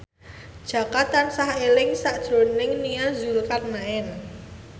Jaka tansah eling sakjroning Nia Zulkarnaen